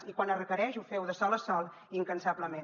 i quan es requereix ho feu de sol a sol i incansablement